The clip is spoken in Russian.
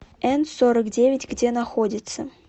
н сорок девять где находится